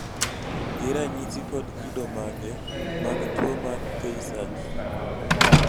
gin ranyisi kod kido mage mag tuwo mar tay sachs?